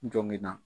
N jɔngɔn na